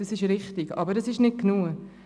Das ist richtig, aber es ist nicht genug.